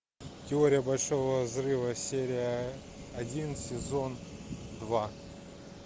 теория большого взрыва серия один сезон два